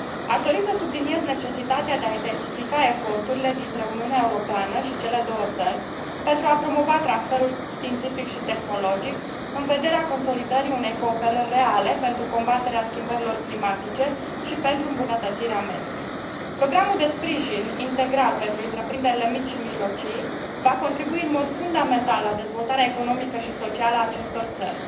Aș dori să subliniez necesitatea de a intensifica eforturile dintre Uniunea Europeană și cele două țări, pentru a promova transferul științific și tehnologic, în vederea consolidării unei cooperări reale pentru combaterea schimbărilor climatice și pentru îmbunătățirea mediului. Programul de sprijin integral pentru întreprinderile mici și mijlocii va contribui în mod fundamental la dezvoltarea economică și socială a acestor țări.